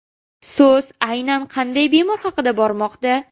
So‘z aynan qanday bemorlar haqida bormoqda?